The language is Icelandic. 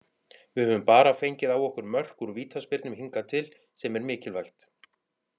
Við höfum bara fengið á okkur mörk úr vítaspyrnum hingað til, sem er mikilvægt.